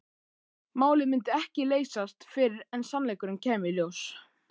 Málið myndi ekki leysast fyrr en sannleikurinn kæmi í ljós.